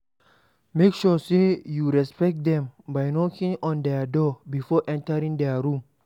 Make sure sey you respect them by knocking on their door before entering their room